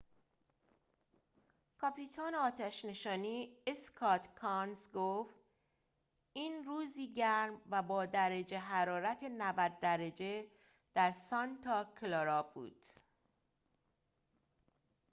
کاپیتان آتش نشانی اسکات کانز گفت این روزی گرم و با درجه حرارت ۹۰ درجه در سانتا کلارا بود